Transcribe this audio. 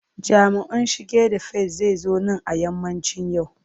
Jami'in shige da fice zai zo nan a yammacin yau.